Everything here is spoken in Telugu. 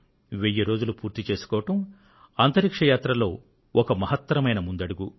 వెయ్యి రోజులు పూర్తి చేసుకోవడం అంతరిక్ష యాత్రలో ఒక మహత్తరమైన అడుగు